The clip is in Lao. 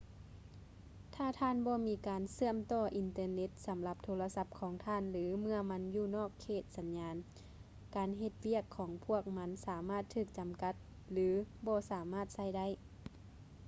ຖ້າທ່ານບໍ່ມີການເຊື່ອມຕໍ່ອິນເຕີເນັດສຳລັບໂທລະສັບຂອງທ່ານ ຫຼື ເມື່ອມັນຢູ່ນອກເຂດສັນຍານ ການເຮັດວຽກຂອງພວກມັນສາມາດຖືກຈຳກັດ ຫຼື ບໍ່ສາມາດໃຊ້ໄດ້